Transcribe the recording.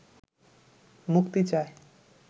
মুক্তি চায়